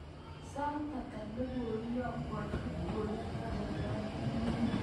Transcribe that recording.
Sait ata ne koiyokwon Kipkorir baruonok